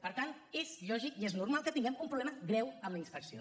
per tant és lògic i és normal que tinguem un problema greu amb la inspecció